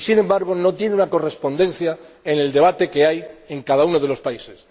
y que, sin embargo, no tiene una correspondencia en el debate que se desarrolla en cada uno de los países.